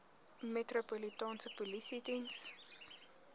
metropolitaanse polisie diens